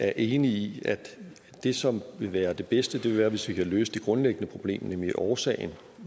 er enig i at det som vil være det bedste vil være hvis vi kan løse det grundlæggende problem nemlig årsagen